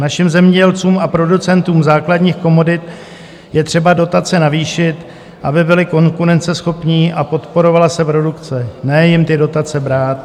Našim zemědělcům a producentům základních komodit je třeba dotace navýšit, aby byli konkurenceschopní a podporovala se produkce, ne jim ty dotace brát...